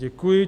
Děkuji.